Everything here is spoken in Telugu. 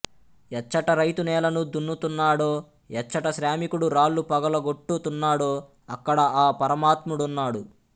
ఎచ్చట రైతు నేలను దున్నుతున్నాడో ఎచ్చట శ్రామికుడు రాళ్ళు పగులగొట్టుతున్నాడోఅక్కడ ఆ పరమాత్ముడున్నాడు